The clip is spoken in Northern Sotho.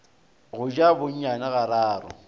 go ja bonyane ga raro